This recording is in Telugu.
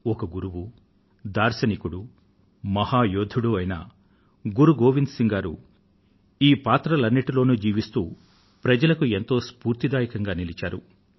ఒక గురువు దార్శనికుడు మహా యోధుడు అయిన గురు గోవింద్ సింగ్ గారు ఈ పాత్రలన్నింటిలో జీవిస్తూ ప్రజలకు ఎంతో స్ఫూర్తిదాయకంగా నిలిచారు